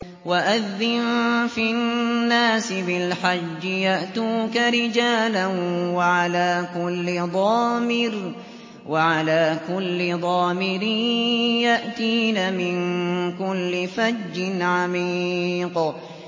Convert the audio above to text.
وَأَذِّن فِي النَّاسِ بِالْحَجِّ يَأْتُوكَ رِجَالًا وَعَلَىٰ كُلِّ ضَامِرٍ يَأْتِينَ مِن كُلِّ فَجٍّ عَمِيقٍ